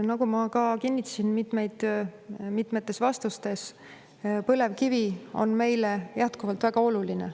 Nagu ma kinnitasin mitmetes vastustes, põlevkivi on meile jätkuvalt väga oluline.